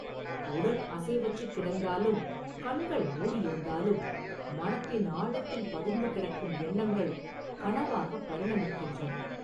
உடல் அசைவற்றுக் கிடந்தாலும், கண்கள் மூடியிருந்தாலும், மனத்தின் ஆழத்தில் பதிந்து கிடக்கும் எண்ணங்கள் கனவாகப் பரிணமிக்கின்றன.